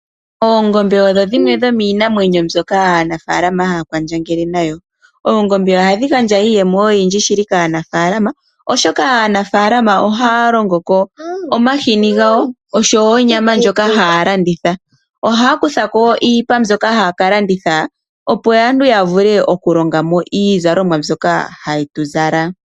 Oondombe odho dhimwe dhomiimamwenyo mbyoka aanafaalama haya kwandjangele nayo. Oongombe ohadhi gandja iiyemo oyindji shili kaanafaalama , oshoka aanafaalama ohaya longoko omahini gawo oshowoo onyama ndjoka haya landitha. Ohaya kuthako wo iipa mbyoka haya ka landitha opo aantu yavule okulongamo iizalomwa mbyoka hatu zala.